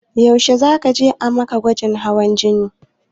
Yaushe za ka je a ma gwajin hawan jini?